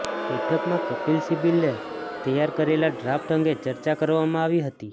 બેઠકમાં કપિલ સિબ્બલે તૈયાર કરેલા ડ્રાફ્ટ અંગે ચર્ચા કરવામાં આવી હતી